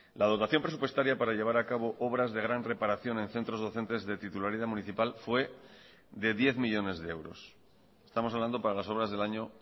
la dotación presupuestaria para llevar a cabo obras de gran reparación en centros docentes de titularidad municipal fue de diez millónes de euros estamos hablando para las obras del año